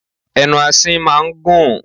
Ẹnu asín máa ń gùn.